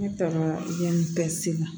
Ne tɔgɔ yamu bɛɛ sela